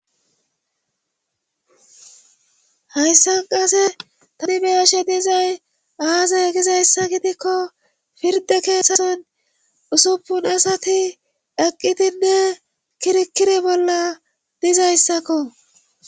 Hayssan qase tani beyashenizay aazay gizayssa gidikko pirde keeseton usuppun asati daqqitinne kirikiri bolla dizayssakko